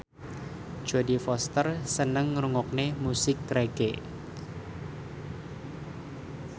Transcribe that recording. Jodie Foster seneng ngrungokne musik reggae